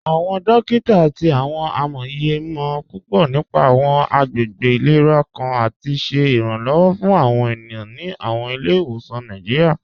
Awọn dòkita àti awọn amóyè mọ̀ púpọ̀ nípà awọn àgbègbè ilẹ̀rà kàn àti ṣẹ iranlọ́wọ̀ fún awọn ènìyàn ní awọn ilẹ̀-ìwọsan Nàìjíríà.